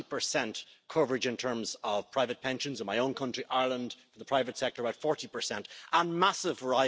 de capital. Il n'en demeure pas moins qu'il reste des trous dans la proposition et dans le mandat du Parlement européen.